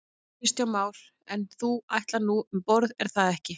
Kristján Már: En þú ætlar nú um borð er það ekki?